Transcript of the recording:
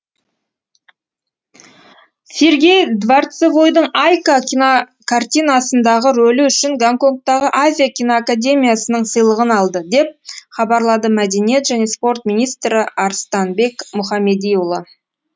сергей дворцевойдың айка кинокартинасындағы рөлі үшін гонконгтағы азия кинокамедиясының сыйлығын алды деп хабарлады мәдениет және спорт министрі арыстанбек мұхамедиұлы